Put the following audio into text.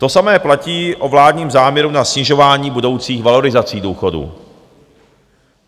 To samé platí o vládním záměru na snižování budoucích valorizací důchodů.